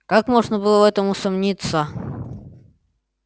как можно было в этом усомниться